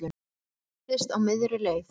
Hræddist á miðri leið